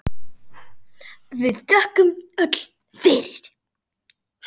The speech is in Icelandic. og þökkum við öll fyrir.